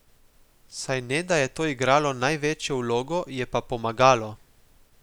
Saj ne da je to igralo največjo vlogo, je pa pomagalo.